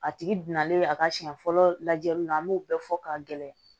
A tigi binalen a ka siɲɛ fɔlɔ lajɛli la an b'o bɛɛ fɔ ka gɛlɛya